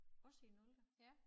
Også i nulte